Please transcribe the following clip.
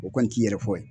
O kɔni t'i yɛrɛ fɔ ye